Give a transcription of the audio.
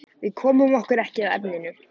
Við komum okkur ekki að efninu.